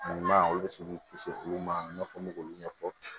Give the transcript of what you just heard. Ɲuman olu bɛ se k'i kisi olu ma i n'a fɔ k'olu ɲɛfɔ